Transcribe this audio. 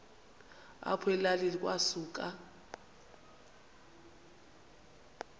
apho elalini kwasuka